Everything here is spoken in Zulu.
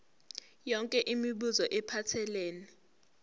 yonke imibuzo ephathelene